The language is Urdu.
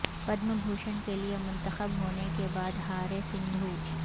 پدم بھوشن کے لئے منتخب ہونے کے بعد ہاریں سندھو